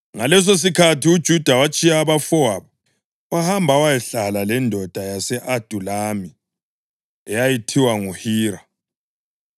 Ngalesosikhathi uJuda watshiya abafowabo wahamba wayahlala lendoda yase-Adulami eyayithiwa nguHira.